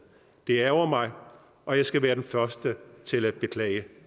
det ærgrer mig og jeg skal være den første til at beklage